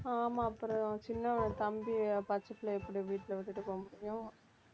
ஆமா அப்புறம் சின்னவன் தம்பி பச்சை பிள்ளையை எப்படி வீட்டில விட்டுட்டு போக முடியும்